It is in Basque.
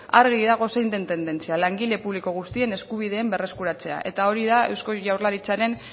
argi dago zein den tendentzia langile publiko guztien eskubideen berreskuratzea eta hori da eusko jaurlaritzaren